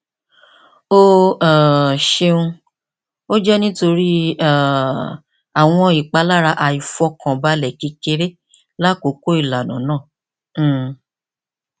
o um ṣeun o jẹ nitori um awọn ipalara aifọkanbalẹ kekere lakoko ilana naa um